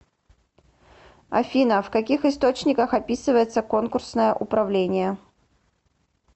афина в каких источниках описывается конкурсное управление